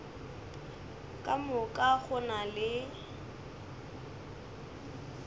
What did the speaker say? ka moka go na le